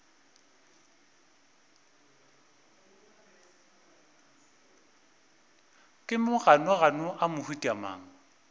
ke maganogano a mohuta mang